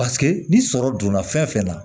Paseke ni sɔrɔ donna fɛn fɛn na